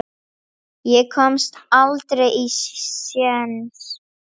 Ég komst aldrei á séns.